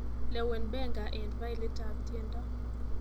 Lewen Benga eng failit ab tiendo